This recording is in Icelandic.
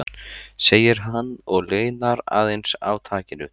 segir hann og linar aðeins á takinu.